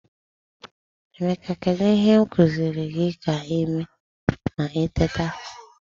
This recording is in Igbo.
Emeka, kedu ihe m kuziri gi ka i mee ma i teta?